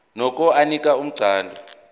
nokho anika umqondo